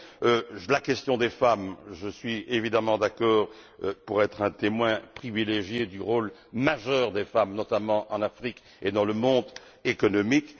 Quant à la question des femmes, je suis évidemment d'accord car je suis un témoin privilégié du rôle majeur des femmes, notamment en Afrique et dans le monde économique.